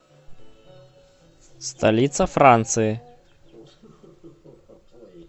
столица франции